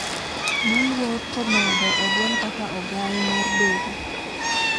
Moluor Komedo ogwel kaka ogaye mar doho